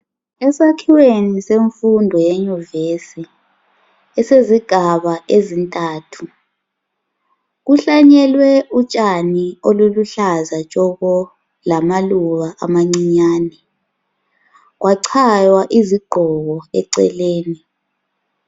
Esakhiweni semfundo yeyunivesi esezigaba ezintathu, kuhlanyelwe utshani oluluhlaza tshoko lamaluba amancinyani. Kwachaywa izigqoko eceleni.